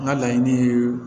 N ka laɲini ye